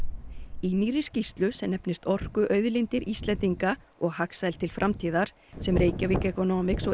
í nýrri skýrslu sem nefnist orkuauðlindir Íslendinga og hagsæld til framtíðar sem Reykjavík Economics og